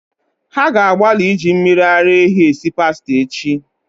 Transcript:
Ha ga-agbalị iji mmiri ara ehi esi pasta echi